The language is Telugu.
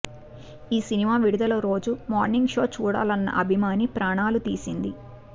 ఈ సినిమా విడుదల రోజు మార్నింగ్ షో చూడాలన్న అభిమాని ప్రాణాలు తీసింది